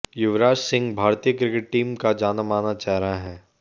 युवराज सिंह भारतीय cricket team का जानामाना चेहरा है